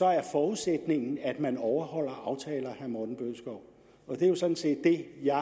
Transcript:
er forudsætningen at man overholder aftaler og det er jo sådan set det jeg